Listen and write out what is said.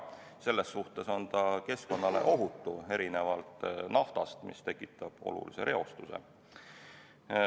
Selles suhtes on ta keskkonnale ohutu, erinevalt naftast, mis tekitab olulise reostuse.